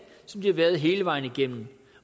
som de har været hele vejen igennem